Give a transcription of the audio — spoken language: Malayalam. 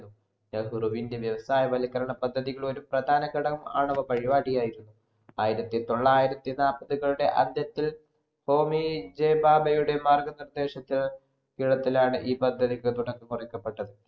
നെഹ്രുവിന്‍റെ വ്യവസായ വല്‍ക്കരണ പദ്ധതികളുടെ ഒരു പ്രധാന ഘടകം ആണവ പരിപാടിയായിരുന്നു. ആയിരത്തി തൊള്ളായിരത്തി നാപ്പതുകളുടെ അന്ത്യത്തില്‍ ഹോമി ജെ ബാബയുടെ മാർഗനിർദേശത്തിൽ നിർദേശത്തിൽ ആണ് ഈ പദ്ധതിക്ക് തുടക്കം കുറിച്ചത്.